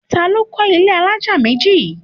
Ta ni ó kọ́ ilé alájà méjì yìí?